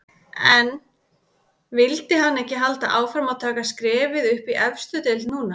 En vildi hann ekki halda áfram og taka skrefið upp í efstu deild núna?